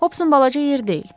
Hopsun balaca yer deyil.